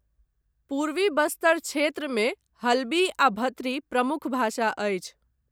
पूर्वी बस्तर क्षेत्रमे हल्बी आ भत्री प्रमुख भाषा अछि।